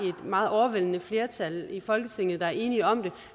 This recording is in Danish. meget overvældende flertal i folketinget der er enige om det